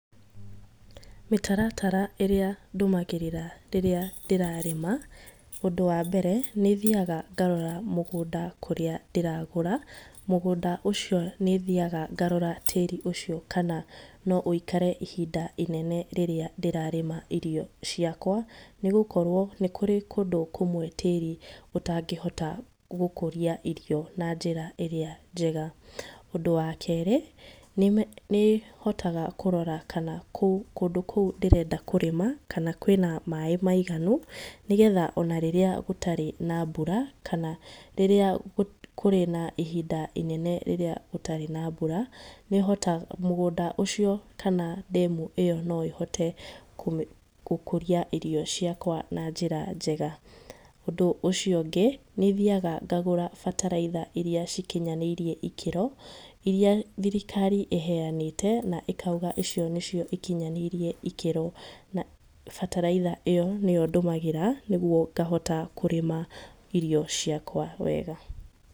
Mĩtaratara ĩrĩa ndũmagĩrĩra rĩrĩa ndĩrarĩma, ũndũ wa mbere nĩ thiaga ngarora mũgũnda kũrĩa ndĩragũra, mũgũnda ũcio nĩ thiaga ngarora tĩri ũcio kana no ũikare ihinda inene rĩrĩa ndĩrarĩma irio ciakwa nĩ gũkorwo nĩ kũrĩ kũndũ kũmwe kũrĩa tĩri ũtangĩhota gũkũria irio na njĩra ĩrĩa njega. Ũndũ wa kerĩ nĩ hotaga kũrora kana kũndũ kou ndĩrenda kũrĩma kana kwĩna maĩ maiganu nĩgetha ona rĩrĩa gũtarĩ na mbura, kana rĩrĩa kũrĩ na ihinda inene rĩrĩa gũtarĩ na mbura, mũgũnda ũcio kana ndemu ĩyo no ĩhote gũkũria irio ciakwa na njĩra njega, ũndũ ũcio ũngĩ nĩ thiaga ngagũra bataraitha iria cikinyanĩirie ikĩro, iria thirikari iheanĩte na ĩkauga icio nĩcio cikinyanĩirie ikĩro, na bataraitha ĩyo nĩyo ndũmagĩra nĩguo ngahota kũrĩma irio ciakwa wega.